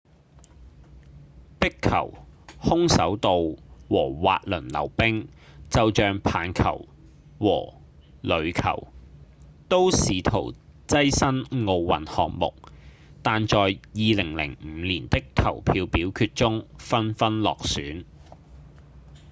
壁球、空手道和滑輪溜冰就像棒球與壘球都試圖躋身奧運項目但在2005年的投票表決中紛紛落選